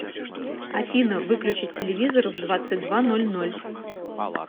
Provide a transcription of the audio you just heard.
афина выключить телевизор в двадцать два ноль ноль